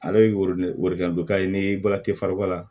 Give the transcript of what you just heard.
Ale ye wari wari dɔ k'a ye n'i bɔra ke farikala la